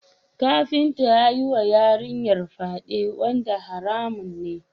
Kafinta ya yiwa yarinyar fyade wanda haramun ne.